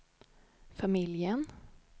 familjen